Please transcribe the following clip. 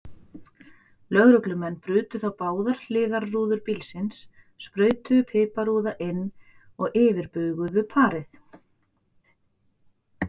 Lögreglumenn brutu þá báðar hliðarrúður bílsins, sprautuðu piparúða inn og yfirbuguðu parið.